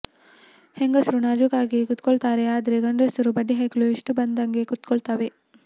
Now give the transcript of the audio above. ಹೆಂಗಸ್ರು ನಾಜೂಕಾಗಿ ಕೂತ್ಕೊಳ್ತಾರೆ ಆದ್ರೆ ಗಂಡ್ಸರು ಬಡ್ಡಿ ಹೈಕ್ಳು ಇಷ್ಟ ಬಂದಂಗೆ ಕೂತ್ಕೊಂತವೇ